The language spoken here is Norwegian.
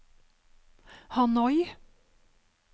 Hanoi